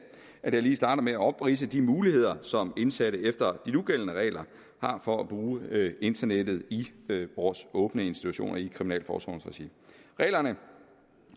at jeg lige starter med at opridse de muligheder som indsatte efter de nugældende regler har for at bruge internettet i vores åbne institutioner i kriminalforsorgens regi reglerne